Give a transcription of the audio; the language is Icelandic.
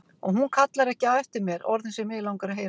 Og hún kallar ekki á eftir mér orðin sem mig langar að heyra.